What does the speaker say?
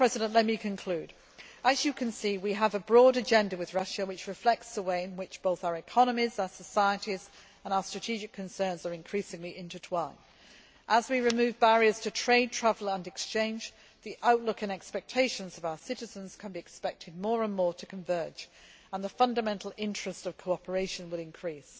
Let me conclude. As you see, we have a broad agenda with Russia, which reflects the way in which our economies, our societies and our strategic concerns are increasingly intertwined. As we remove barriers to trade, travel and exchange, the outlook and expectations of our citizens can be expected more and more to converge and the fundamental interest of cooperation will increase.